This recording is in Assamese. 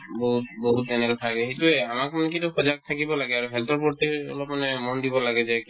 বহুত বহুত বহুত সেইটোয়ে আমাক কি এইটো সজাগ থাকিব লাগে আৰু health ৰ প্ৰতি অলপ মানে মন দিব লাগে যে